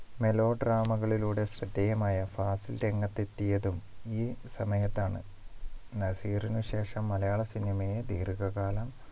Mellow drama കളിലൂടെ ശ്രദ്ധേയമായ ഫാസിൽ രംഗത്തെത്തിയതും ഈ സമയത്താണ് നസീറിന് ശേഷം മലയാള cinema യെ ദീർഘകാലം